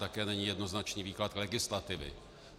Také není jednoznačný výklad legislativy.